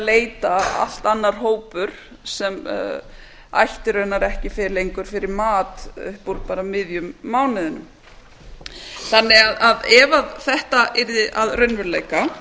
leita allt annar hópur sem ætti raunar ekki lengur fyrir mat upp úr bara miðjum mánuðinum ef þetta yrði að raunveruleika